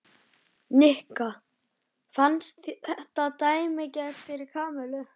Nikka fannst þetta dæmigert fyrir Kamillu.